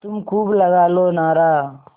तुम खूब लगा लो नारा